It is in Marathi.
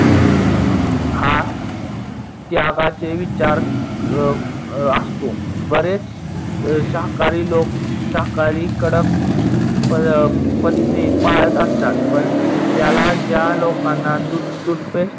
हा त्यागाचे विचार असतो. बरेच शाकाहारी लोक शाकाहारी कडक पत्ते पाडत असतात, पण त्याला ज्या लोकांना दूध toothpaste